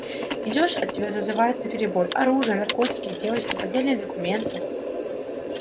идёшь а тебя зазывают наперебой оружие наркотики девочки поддельные документы